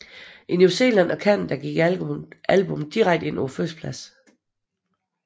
I New Zealand og Canada gik albummet direkte ind på førstepladsen